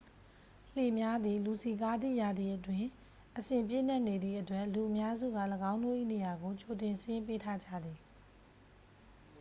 လှေများသည် လူစည်ကားသည့်ရာသီအတွင်း အစဉ်ပြည့်နှက်နေသည့်အတွက် လူအများစုက ၎င်းတို့၏ နေရာကို ကြိုတင်စာရင်းပေးထားကြသည်။